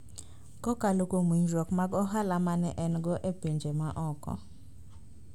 Kokalo kuom winjruok mag ohala ma ne en go e pinje ma oko,